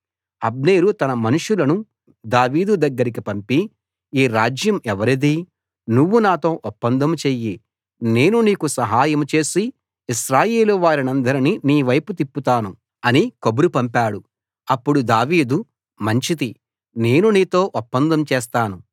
అబ్నేరు తన మనుషులను దావీదు దగ్గరికి పంపి ఈ రాజ్యం ఎవరిది నువ్వు నాతో ఒప్పందం చెయ్యి నేను నీకు సహాయం చేసి ఇశ్రాయేలు వారినందరినీ నీవైపు తిప్పుతాను అని కబురు పంపాడు అప్పుడు దావీదు మంచిది నేను నీతో ఒప్పందం చేస్తాను